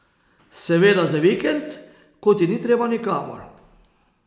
Seveda za vikend, ko ti ni treba nikamor.